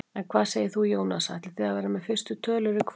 En hvað segir þú Jónas, ætlið þið að vera með fyrstu tölur í kvöld?